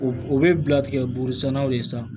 O o bɛ bila tigɛ burusiɲɛnaw de san